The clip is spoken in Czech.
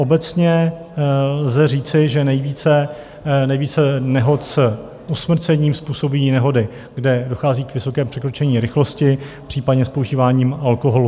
Obecně lze říci, že nejvíce nehod s usmrcením způsobí nehody, kde dochází k vysokému překročení rychlosti, případně s požíváním alkoholu.